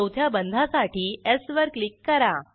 चौथ्या बंधासाठी स् वर क्लिक करा